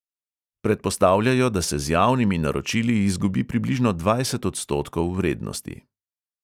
Predpostavljajo, da se z javnimi naročili izgubi približno dvajset odstotkov vrednosti.